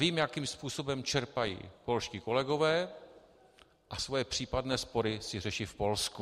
Vím, jakým způsobem čerpají polští kolegové, a svoje případné spory si řeší v Polsku.